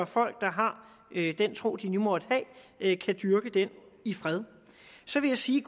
folk der har den tro de nu måtte have kan dyrke den i fred så vil jeg sige